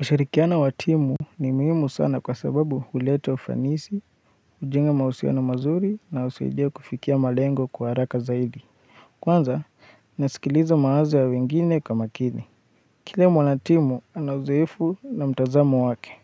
Ushirikiano wa timu ni muhimu sana kwa sababu huleta ufanisi, hujenga mahusiano mazuri na husaidia kufikia malengo kwa haraka zaidi. Kwanza, nasikiliza mawazo ya wengine kwa makini. Kila mwanatimu, ana uzoefu na mtazamo wake.